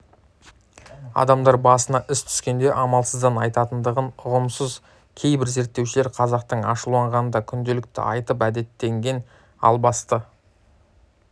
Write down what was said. адамдар басына іс түскенде амалсыздан айтатындығын ұғамыз кейбір зерттеушілер қазақтың ашуланғанда күнделікті айтып әдеттенген албасты